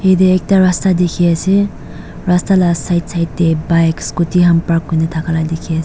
ete ekta rasta dekhi ase rast la side side te bike scooty ham park kori kena thakka la dekhi ase.